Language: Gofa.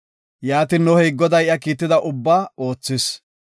Yaatin, Nohey Goday iya kiitida ubbaba oothis.